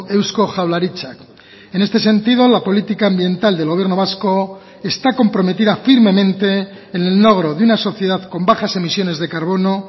eusko jaurlaritzak en este sentido la política ambiental del gobierno vasco está comprometida firmemente en el logro de una sociedad con bajas emisiones de carbono